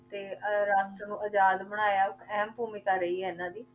ਤੇ ਅਹ ਰਾਸ਼ਟਰ ਨੂੰ ਆਜ਼ਾਦ ਬਣਾਇਆ ਅਹਿਮ ਭੂਮਿਕਾ ਰਹੀ ਹੈ ਇਹਨਾਂ ਦੀ।